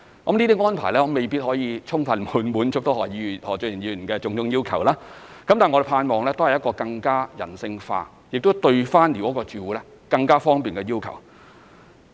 這些安排未必可以充分滿足何俊賢議員的種種要求，但我們盼望這都是一個更人性化、更方便寮屋住戶的要求。